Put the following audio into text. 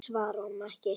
Ég svara honum ekki.